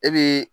E bi